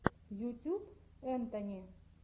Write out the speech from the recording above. ютюб энтони